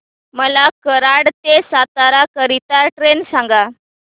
मला कराड ते सातारा करीता ट्रेन सांगा